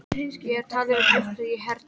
Ég er að tala um uppistandið í hernum.